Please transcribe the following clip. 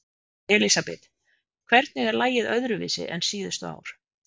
Elísabet: Hvernig er lagið öðruvísi en síðustu ár?